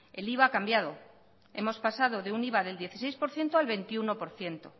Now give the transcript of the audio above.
el iva ha cambiado hemos pasado de un iva del dieciséis por ciento al veintiuno por ciento